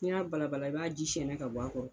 N'i y'a balala i b'a ji sɛɛnɛ ka bɔ a kɔrɔ.